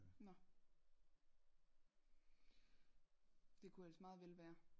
Nå det kunne ellers meget vel være